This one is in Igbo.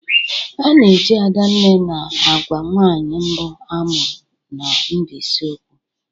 A na-eji Adanne na-agwa nwaanyị mbụ amụrụ na Mbaise okwu.